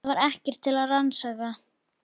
Það var ekkert til að rannsaka.